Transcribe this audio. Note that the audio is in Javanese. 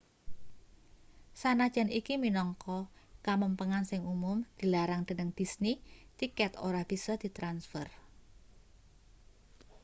sanajan iki minangka kamempengan sing umum dilarang dening disney tiket ora bisa ditransfer